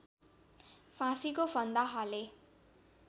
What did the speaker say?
फाँसीको फन्दा हाले